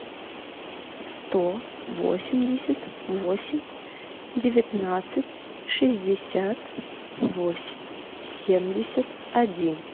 сто восемьдесят восемь девятнадцать шестьдесят восемь семьдесят один